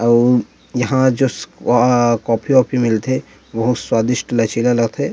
अउ यहाँ जस अ कॉफ़ी वाओफि मिल थे बहुत स्वादिस्ट लचीला ल थे।